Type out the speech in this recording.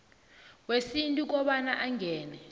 wesintu kobana angene